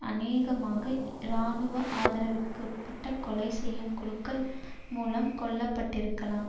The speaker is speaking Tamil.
அநேகமாக இராணுவ ஆதரவிற்குட்பட்ட கொலை செய்யும் குழுக்கள் மூலம் கொல்ல பட்டிருக்கலாம்